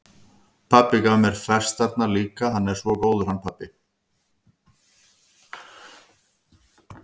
Pabbi gaf mér festarnar líka, hann er svo góður, hann pabbi.